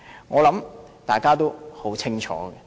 我想大家也很清楚。